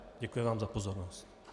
Děkuji vám za pozornost.